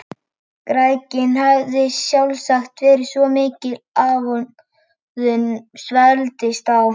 Græðgin hafði sjálfsagt verið svo mikil að honum svelgdist á.